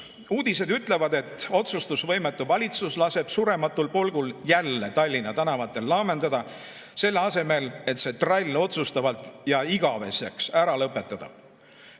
Uudised ütlevad, et otsustusvõimetu valitsus laseb surematul polgul jälle Tallinna tänavatel laamendada, selle asemel et see trall otsustavalt ja igaveseks ära lõpetada.